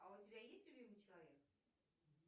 а у тебя есть любимый человек